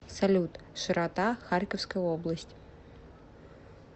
салют широта харьковская область